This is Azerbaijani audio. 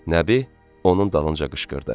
Nəbi onun dalınca qışqırdı: